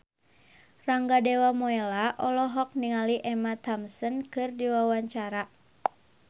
Rangga Dewamoela olohok ningali Emma Thompson keur diwawancara